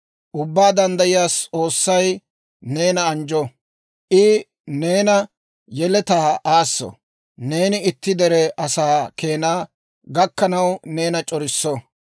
Ubbaa Danddayiyaa S'oossay neena anjjo; I ne yeletaa aasso; neeni itti dere asaa keena gakkanaw neena c'orisso.